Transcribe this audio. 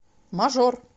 мажор